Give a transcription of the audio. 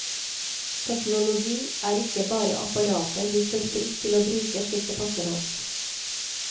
Teknologi er ikke bare apparater vi står fritt til å bruke slik det passer oss.